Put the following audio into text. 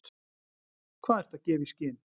Hvað ertu að gefa í skyn?